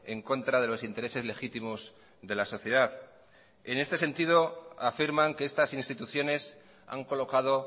en contra de los intereses legítimos de la sociedad en este sentido afirman que estas instituciones han colocado